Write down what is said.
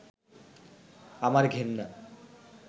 আমার ঘেন্না